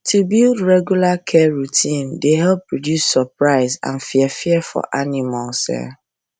to build regular care routine dey help reduce surprise and fear fear for animals